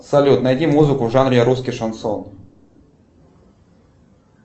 салют найди музыку в жанре русский шансон